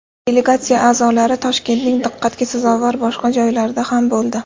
Delegatsiya a’zolari Toshkentning diqqatga sazovor boshqa joylarida ham bo‘ldi.